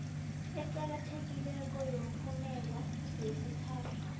eqakathekileko yomphumela yesithathu